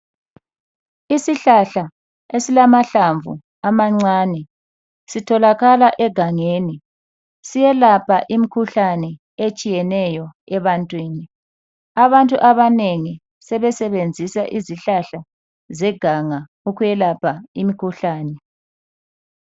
Isihlahla esilama hlamvu amancane sitholakala egangeni. Siyelapha imkhuhlane eyetshiyeneyo ebantwini. Abantu abanengi sebesebenzisa izihlahla zeganga ukuyelapha imkhuhlane.